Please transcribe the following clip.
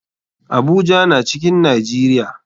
Abuja na cikin nijeria.